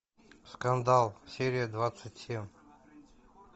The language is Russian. скандал серия двадцать семь